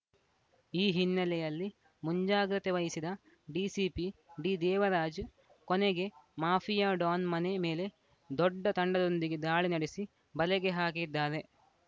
ಈ ಹಿನ್ನೆಲೆಯಲ್ಲಿ ಮುಂಜಾಗ್ರತೆ ವಹಿಸಿದ ಡಿಸಿಪಿ ಡಿದೇವರಾಜ್‌ ಕೊನೆಗೆ ಮಾಫಿಯಾ ಡಾನ್‌ ಮನೆ ಮೇಲೆ ದೊಡ್ಡ ತಂಡದೊಂದಿಗೆ ದಾಳಿ ನಡೆಸಿ ಬಲೆಗೆ ಹಾಕಿದ್ದಾರೆ